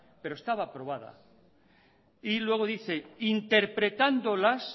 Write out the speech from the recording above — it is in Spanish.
pero estaba aprobada y luego dice interpretándolas